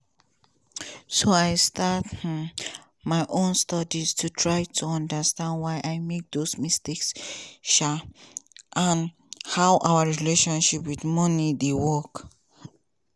so i start um my own studies to try to understand why i make those mistakes um and how our relationship wit moni dey work.